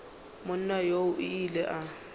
monna yoo o ile a